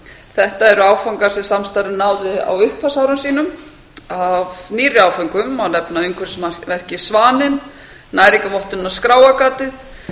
þetta eru áfangar sem samstarfið náði á upphafsárum sínum af nýrri áföngum má nefna umhverfismerkið svaninn næringarvottunina skráargatið